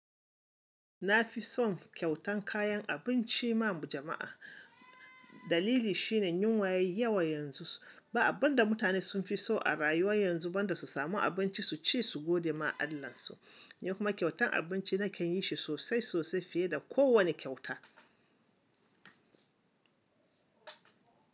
Na fi son kyautan kayan abinci ma jama'a. Dalili shine yunwa yai yawa yanzu. Ba abun da mutane sun fi so a rayuwa yanzu banda su samu abinci su ci su gode ma Allahnsu. Kuma kyautan abinci na ke yin shi sosai sosai fiye da kowane kyauta.